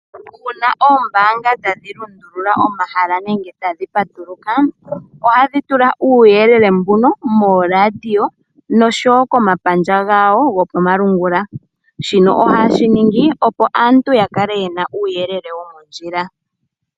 Uuna oombaanga tadhi lundulula omahala nenge tadhi patuluka, ohadhi tula uuyelele mbuno mooradio noshowo komapandja gawo gopamalungula. Shino ohaye shi ningi opo aantu ya kale yena uuyelele womondjila.